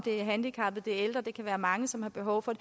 handicappede det ældre det kan være mange som har behov for